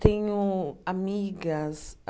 Tenho amigas.